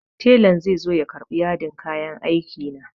Telan zai zo ya karɓi yadin kayan aiki na.